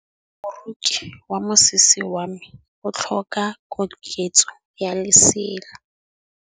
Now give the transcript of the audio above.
Moroki wa mosese wa me o tlhoka koketsô ya lesela.